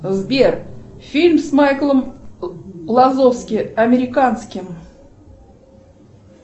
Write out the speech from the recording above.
сбер фильм с майклом лазовски американским